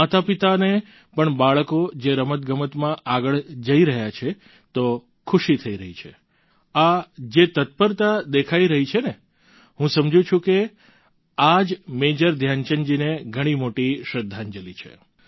માતાપિતાને પણ બાળકો જો રમતગમતમાં આગળ જઈ રહ્યા છે તો ખુશી થઈ રહી છે આ જે તત્પરતા દેખાઈ રહી છે ને હું સમજું છું આ જ મેજર ધ્યાનચંદજીને ઘણી મોટી શ્રદ્ધાંજલી છે